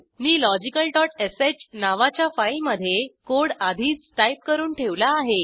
मी logicalश नावाच्या फाईलमधे कोड आधीच टाईप करून ठेवला आहे